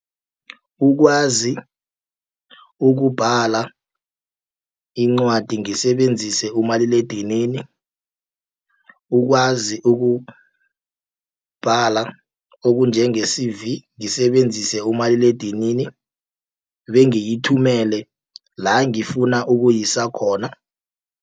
Ukwazi ukubhala incwadi ngisebenzise umaliledinini. Ukwazi ukubhala okunjenge C_V ngisebenzise umaliledinini, bengiyithumele la ngifuna ukuyisa khona.